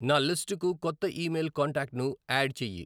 నా లిస్టుకు కొత్త ఇమెయిల్ కాంటాక్ట్ను యాడ్ చెయ్యి